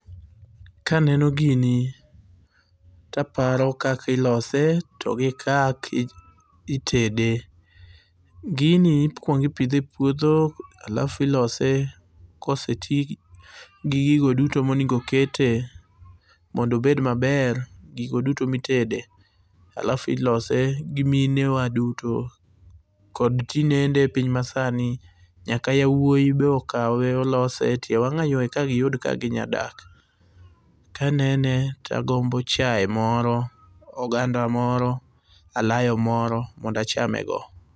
Kaneno gini, taparo kaka ilose, to gikak itede. Gini ikuongo ipidhe e puodho alafu ilose gi gigo duto monego kete mondo obed maber, gigo duto mitede. Alafu ilose gi minewa duto. Kod tinende piny masani nyaka yawuoyi be okawe lose etie wang'ayo mondo giyud kaka ginyalo dak. Kanene tagombo chae moro, oganda moro, alayo moro mondo achame go.